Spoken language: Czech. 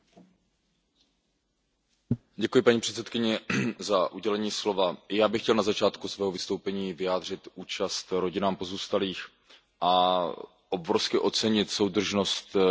Paní předsedkyně, já bych chtěl na začátku svého vystoupení vyjádřit účast rodinám pozůstalých a obrovsky ocenit soudržnost lidí, kteří byli dotčeni touto katastrofou.